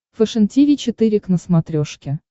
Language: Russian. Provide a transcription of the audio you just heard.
фэшен тиви четыре к на смотрешке